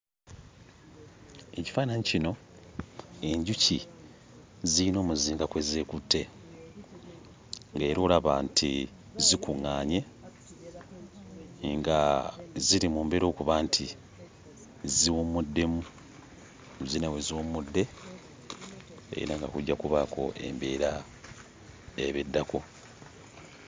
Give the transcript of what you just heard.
Ekifaananyi kino enjuki ziyina omuzinga kwe zeekutte ng'era olaba nti zikuŋŋaanye nga ziri mu mbeera okuba nti ziwummuddemu; ziyina we ziwummudde era nga kujja kubaako embeera eba eddako.